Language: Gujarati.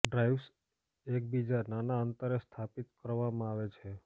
ડ્રાઇવ્સ એકબીજા નાના અંતરે સ્થાપિત કરવામાં આવે છે